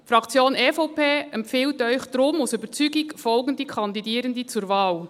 Die Fraktion-EVP empfiehlt Ihnen deshalb aus Überzeugung folgende Kandidierende zur Wahl: